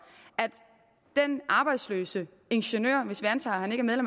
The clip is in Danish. at den arbejdsløse ingeniør hvis vi antager at han ikke er